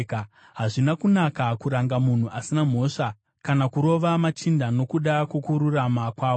Hazvina kunaka kuranga munhu asina mhosva, kana kurova machinda nokuda kwokururama kwavo.